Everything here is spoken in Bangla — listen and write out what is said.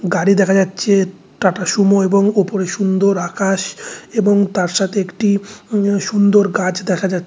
গাড়ি দেখা যাচ্ছে টাটাসুমো এবং উপরে সুন্দর আকাশ এবং তার সাথে একটি উম সুন্দর গাছ দেখা যাচ--